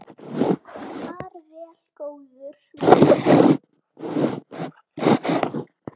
Far vel, góði vinur.